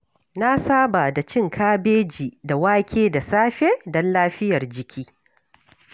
Na saba da cin kabeji da wake da safe don lafiyar jiki.